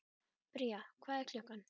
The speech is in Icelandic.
Bría, hvað er klukkan?